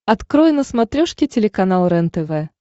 открой на смотрешке телеканал рентв